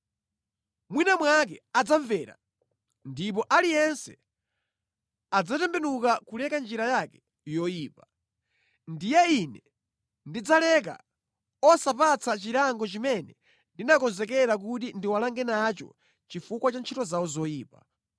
Mwina mwake adzamvera, ndipo aliyense adzatembenuka kuleka njira yake yoyipa. Ndiye ine ndidzaleka osapatsa chilango chimene ndinakonzekera kuti ndiwalange nacho chifukwa cha ntchito zawo zoyipa.